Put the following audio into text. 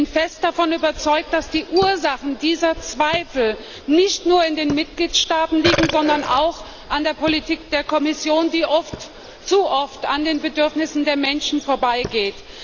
Ich bin fest davon überzeugt, dass die Ursachen dieser Zweifel nicht nur in den Mitgliedstaaten liegen, sondern auch an der Politik der Kommission, die oft zu oft an den Bedürfnissen der Menschen vorbeigeht.